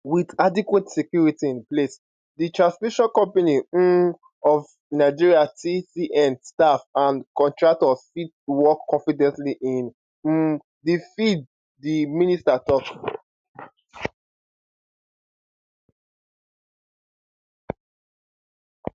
with adequate security in place di transmission company um of nigeria tcn staff and contractors fit work confidently in um di field di minister tok